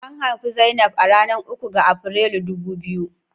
An haifi Zainab a ranar uku ga Afrilu dubu biyu.